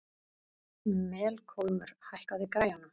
Melkólmur, hækkaðu í græjunum.